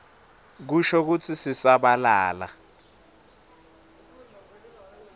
kusho kutsi sisabalala